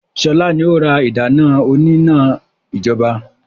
Sọlá ni ó ra ìdáná òní-iná ijọba